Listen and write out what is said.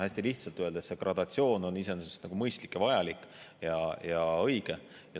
Hästi lihtsalt öeldes on see gradatsioon iseenesest mõistlik ja vajalik ja õige.